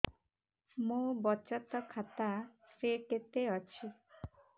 ମୋ ବଚତ ଖାତା ରେ କେତେ ଅଛି